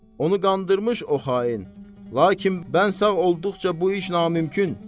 Onu qandırmış o xain, lakin mən sağ olduqca bu iş namümkün.